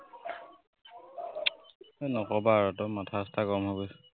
এৰ নকবা আৰু একদম মাথা চাথা গৰম হৈ গৈছে।